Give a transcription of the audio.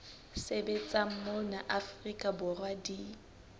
sebetsang mona afrika borwa di